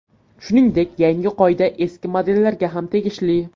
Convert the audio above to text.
Shuningdek, yangi qoida eski modellarga ham tegishli.